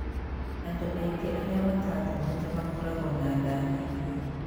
Andũ aingĩ arĩa mataathomete makoragwo na nda nyingĩ.